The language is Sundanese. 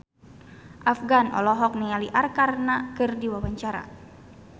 Afgan olohok ningali Arkarna keur diwawancara